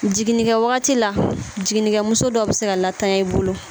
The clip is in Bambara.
Jiginnikɛ wagati la jiginnikɛmuso dɔ be se ka tanya i bolo